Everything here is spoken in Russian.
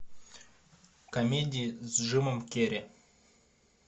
комедии с джимом керри